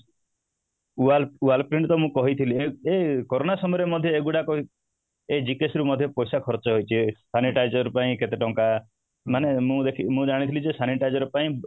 wall wallprint ତ ମୁଁ କହିଥିଲି ଏଇ corona ସମୟ ରେ ମଧ୍ୟ ଏଇ GKS ରୁ ମଧ୍ୟ ପଇସା ଖର୍ଚ୍ଚ ହେଇଛି sanitizer ପାଇଁ କେତେ ଟଙ୍କା ମାନେ ମୁଁ ଯେତିକି ମୁଁ ଜାଣିଥିଲି ଯେ sanitizer ପାଇଁ